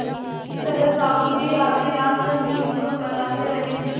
इस तरह साहु जी आधी रात तक नींद को बहलाते रहे